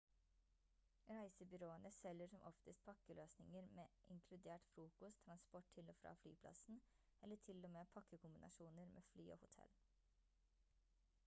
reisebyråene selger som oftest pakkeløsninger med inkludert frokost transport til og fra flyplassen eller til og med pakkekombinasjoner med fly og hotell